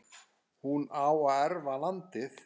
hún á að erfa landið.